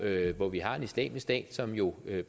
hvor vi har en islamisk stat som jo